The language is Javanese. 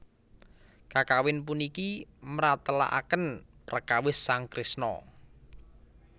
Kakawin puniki mratélakaken prekawis sang Kresna